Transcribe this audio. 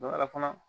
Don dɔ la fana